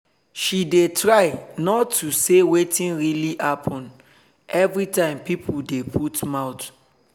she dey try not to say wetin really happen every time pipo dey put mouth